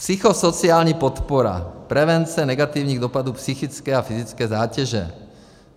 Psychosociální podpora, prevence negativních dopadů psychické a fyzické zátěže.